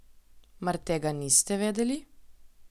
Mar tega niste vedeli?